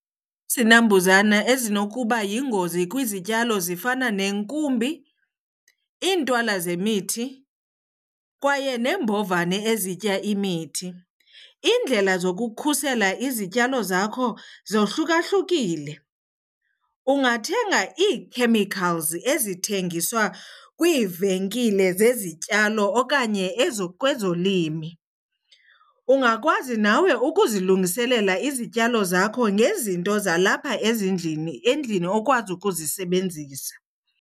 Izinambuzane ezinokuba yingozi kwizityalo zifana neenkumbi, iintwala zemithi kwaye neembovane ezitya imithi. Iindlela zokukhusela izityalo zakho zohlukahlukile. Ungathenga ii-chemicals ezithengiswa kwiivenkile zezityalo okanye kwezolimo. Ungakwazi nawe ukuzilungiselela izityalo zakho ngezinto zalapha ezindlini, endlini okwazi ukuzisebenzisa.